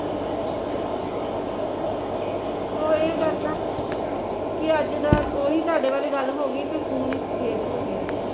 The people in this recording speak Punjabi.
ਓਹੀ ਗੱਲ ਆ ਕੀ ਅੱਜ ਦਾ ਓਹੀ ਤੁਹਾਡੇ ਵਾਲੀ ਗੱਲ ਹੋਗੀ ਵੀ ਖੂਨ ਹੀਂ ਸਫੇਦ ਹੋਗਿਆ ਆ